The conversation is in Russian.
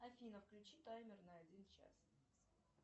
афина включи таймер на один час